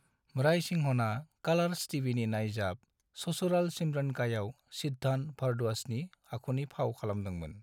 रायसिंहनआ कालार्स टीभिनि नाइजाब "ससुराल सिमर का"आव सिद्धांत भरद्वाजनि आखुनि फाव खालामदोंमोन।